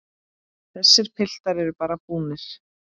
Þessir piltar eru bara búnir.